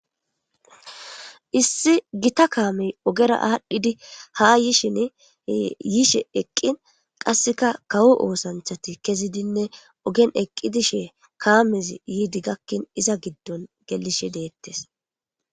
Issi gita kaamey ogera aadhdhidi ha yishin yiishe eqqin qasseka kawo oosanthati kezidinne ogen eqqi dishe kaamez yiidi gakkin iza giddon gelishe deettes.